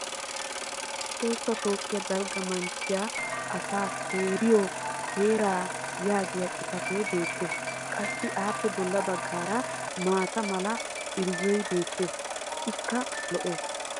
tohossa toophiya dalgga manttiya asaa seeriyo heeraa yaagiya xifatee beetees. qassi appe bolla bagara maata mala irzzoy beetees. ikka lo'ees.